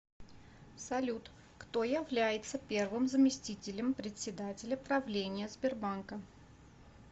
салют кто является первым заместителем председателя правления сбербанка